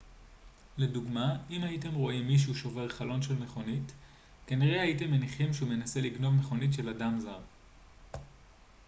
לדוגמה אם הייתם רואים מישהו שובר חלון של מכוניות כנראה הייתם מניחים שהוא מנסה לגנוב מכונית של אדם זר